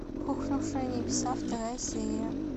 рухнувшие небеса вторая серия